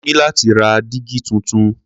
Mo ní láti ra dígí tuntun.